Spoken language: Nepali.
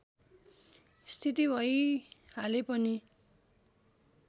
स्थिति भइहाले पनि